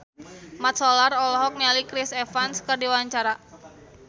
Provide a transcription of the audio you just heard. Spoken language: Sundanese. Mat Solar olohok ningali Chris Evans keur diwawancara